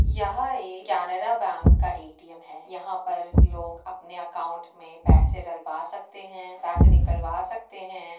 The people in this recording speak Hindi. यहाँ एक कैनरा बैंक का ए.टी.एम. है। यहाँ पर लोग अपने अकाउंट मे पैसे डलवा सकते हैं। पैसे निकलवा सकते हैं।